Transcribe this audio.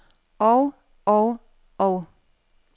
og og og